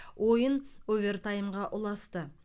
ойын овертаймға ұласты